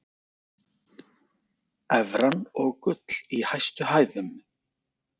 Evran og gull í hæstu hæðum